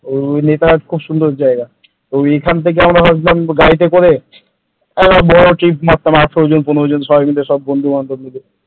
এমনি নেতারহাত খুব সুন্দর জায়গা তো এখান থেকে আমরা ভাবছিলাম গাড়িতে করে একটা বড় trip মারতাম পনেরো ষোল জন বন্ধু মিলে ।